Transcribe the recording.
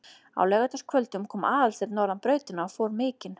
Á laugardagskvöldum kom Aðalsteinn norðan brautina og fór mikinn.